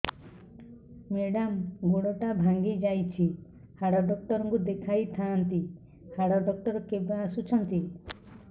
madam ଗୋଡ ଟା ଭାଙ୍ଗି ଯାଇଛି ହାଡ ଡକ୍ଟର ଙ୍କୁ ଦେଖାଇ ଥାଆନ୍ତି ହାଡ ଡକ୍ଟର କେବେ ଆସୁଛନ୍ତି